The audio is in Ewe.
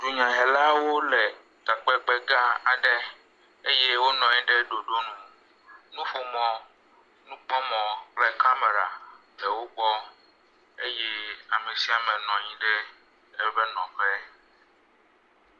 dunya helaɖewo le takpekpe gã aɖe eye wó nɔnyi ɖe ɖoɖónu nuƒomɔ, nukpɔmɔ kple kamɛra le wógbɔ eye amesiame nɔnyi ɖe eƒe nɔƒe